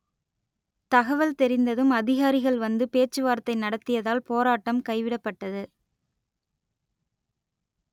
தகவல் தெரிந்ததும் அதிகாரிகள் வந்து பேச்சுவார்த்தை நடத்தியதால் போராட்டம் கைவிடப்பட்டது